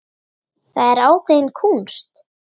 Það er ákveðin kúnst.